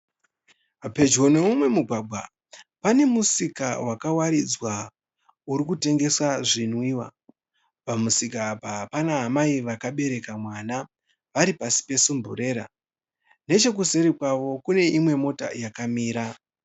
Pedyo neumwe mugwagwa, pane musika wakawaridzwa urikutengeswa zvinwiwa. Pamusika apa pana amai vakabereka mwana vari pasi pesimburera. Nechekuseri kwavo kune imwe mota yakamira.